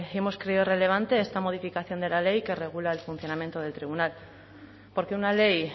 hemos creído relevante esta modificación de la ley que regula el funcionamiento del tribunal porque una ley